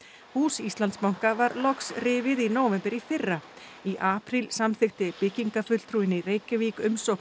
hús Íslandsbanka var loks rifið í nóvember í fyrra í apríl samþykkti byggingarfulltrúinn í Reykjavík umsókn